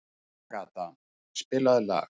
Agata, spilaðu lag.